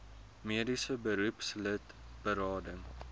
mediese beroepslid berading